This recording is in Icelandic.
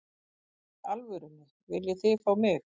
Í alvörunni, viljið þið fá mig?